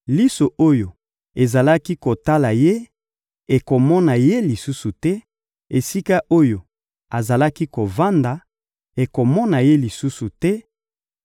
Liso oyo ezalaki kotala ye ekomona ye lisusu te, esika oyo azalaki kovanda ekomona ye lisusu te,